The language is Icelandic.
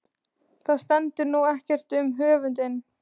Það stendur nú ekkert um höfundinn.